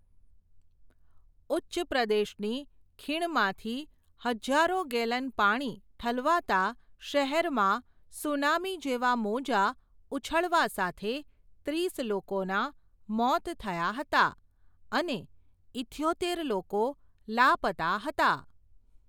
ઉચ્ચ પ્રદેશની, ખીણમાંથી, હજારો ગેલન પાણી, ઠલવાતા, શહેરમાં, સુનામી જેવા મોજાં, ઉછળવા સાથે, ત્રીસ લોકોનાં, મોત થયાં હતા, અને, ઇથ્યોતેર લોકો, લાપતા હતા.